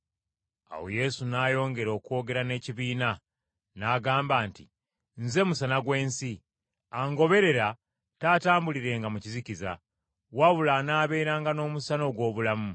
Awo Yesu n’ayongera okwogera n’ekibiina, n’agamba nti, “Nze Musana gw’ensi. Angoberera taatambulirenga mu kizikiza, wabula anaabeeranga n’omusana ogw’obulamu.”